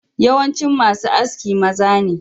Yawancin masu Aski maza ne.